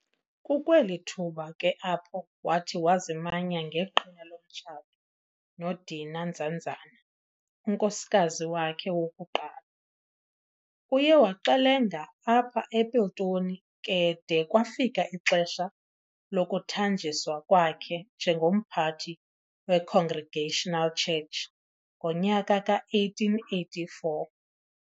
Kukweli thuba ke apho wathi wazimanya ngeqhina lomtshato noDeena Nzanzana, unkosikazi wakhe wokuqala. Uye waxelenga apha ePiltoni ke de kwafika ixesha lokuthanjiswa kwakhe njengomphathi weCongregational Church ngonyaka ka-1884.